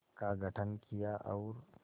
का गठन किया और